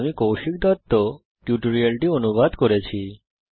আমি কৌশিক দত্ত এই টিউটোরিয়ালটি অনুবাদ করেছি